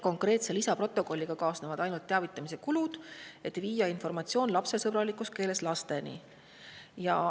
Konkreetse lisaprotokolliga kaasnevad ainult teavitamiskulud, et viia informatsioon lasteni lapsesõbralikus keeles.